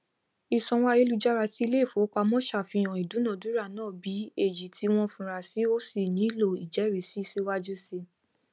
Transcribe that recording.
ìsanwó ayélujára tí ileifowopamo ṣàfihàn ìdúnadúrà náà bí èyí tí wọn fura si ó sì nílò ijerisi síwájú sí i